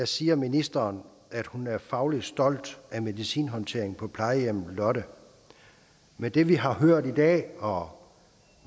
siger ministeren at hun er fagligt stolt af medicinhåndteringen på plejehjemmet lotte med det vi har hørt i dag og